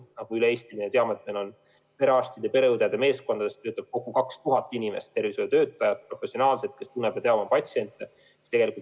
Me teame, et üle Eesti töötab perearstide ja pereõdede meeskondades 2000 professionaalset tervishoiutöötajat, kes tunnevad ja teavad oma patsiente.